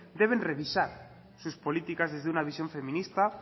deben revisar sus políticas desde una visión feminista